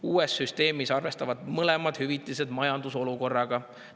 Uues süsteemis arvestatakse mõlema hüvitise puhul majandusolukorraga.